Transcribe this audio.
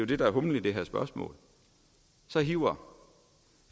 det der er humlen i det her spørgsmål hiver